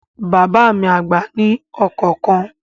Bàbá mi àgbà ní ọkọ̀ kan